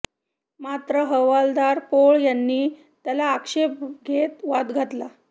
मात्र हवालदार पोळ यांनी त्याला आक्षेप घेत वाद घातला